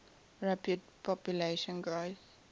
rapid population growth